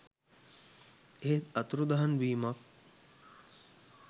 එහෙත් අතුරුදන් වීමක්